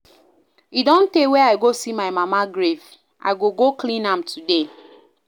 E don tey wey I go see my mama grave, I go go clean am today